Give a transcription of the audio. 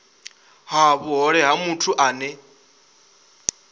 ha vhuhole na muthu ane